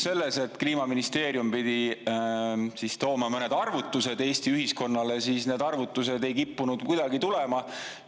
Aga kui Kliimaministeerium pidi tooma mõned arvutused Eesti ühiskonnale, siis neid arvutusi ei kippunud kuidagi tulema.